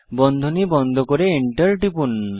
বন্ধনী বন্ধ করে Enter টিপুন